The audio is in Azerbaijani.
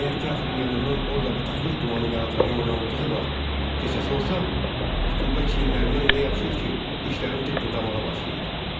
Əgər teatrın yanından orda bataqlıq dumanı melodrama oynadığı vaxt keçəsi olsam, rütubət çiyinlərimdən elə yapışır ki, dişlərim tıqqıldamağa başlayır.